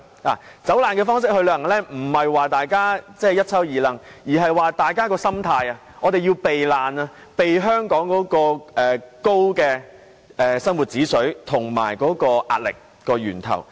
以"走難"方式去旅行並非指大家要攜帶大包小包，而是大家的心態是要避難，避開香港的高生活指數及壓力源頭。